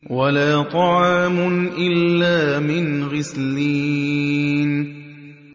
وَلَا طَعَامٌ إِلَّا مِنْ غِسْلِينٍ